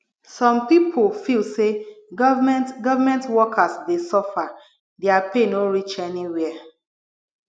some pipo feel sey government government workers dey suffer their pay no reach anywhere